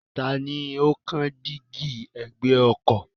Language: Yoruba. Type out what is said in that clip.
Tani ó kán dígí ẹ̀gbẹ́ ọkọ̀?